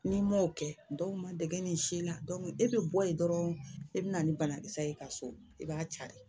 N'i m'o kɛ dɔw ma dege ni sila e bɛ bɔ yen dɔrɔn e bɛ na ni banakisɛ ye ka so i b'a cari